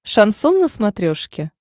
шансон на смотрешке